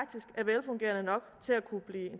at nok til at kunne blive